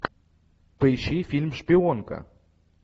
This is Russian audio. поищи фильм шпионка